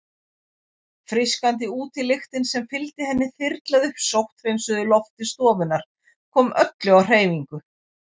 Frískandi útilyktin sem fylgdi henni þyrlaði upp sótthreinsuðu lofti stofunnar, kom öllu á hreyfingu.